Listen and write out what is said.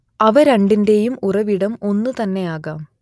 അവ രണ്ടിന്റേയും ഉറവിടം ഒന്നുതന്നെയാകാം